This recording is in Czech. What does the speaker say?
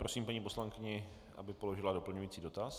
Prosím paní poslankyni, aby položila doplňující dotaz.